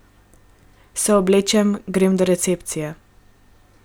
Se oblečem, grem do recepcije ...